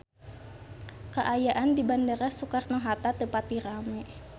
Kaayaan di Bandara Soekarno Hatta teu pati rame